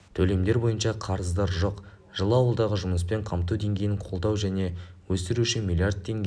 төлемдер бойынша қарыздар жоқ жылы ауылдағы жұмыспен қамту деңгейін қолдау және өсіру үшін млрд теңге